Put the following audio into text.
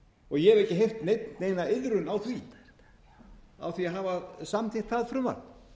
og ég hef ekki heyrt neina iðrun á því að hafa samþykkt það frumvarp